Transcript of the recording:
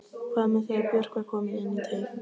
Hvað með þegar Björk var komin inn í teig?